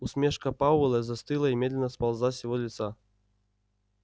усмешка пауэлла застыла и медленно сползла с его лица